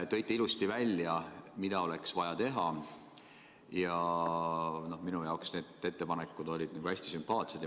Tõite ilusasti välja, mida oleks vaja teha, ja minu jaoks on need ettepanekud hästi sümpaatsed.